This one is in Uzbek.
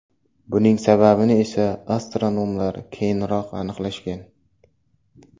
Buning sababini esa astronomlar keyinroq aniqlashgan.